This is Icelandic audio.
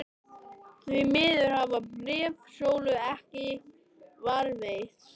Því miður hafa bréf Sólu ekki varðveist.